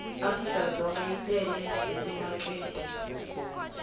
africadzonga yi tele hi timakete